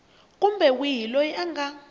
kumbe wihi loyi a nga